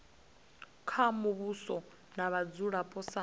kha muvhuso na vhadzulapo sa